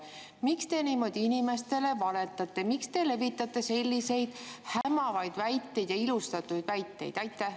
Miks te niimoodi inimestele valetate, miks te levitate selliseid hämavaid ja ilustatud väiteid?